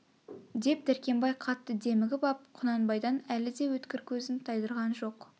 деп дәркембай қатты демігіп ап құнанбайдан әлі де өткір көзін тайдырған жоқ